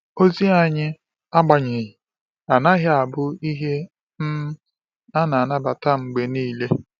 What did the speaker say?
Ozi anyị, agbanyeghị, anaghị abụ ihe um a na-anabata mgbe niile.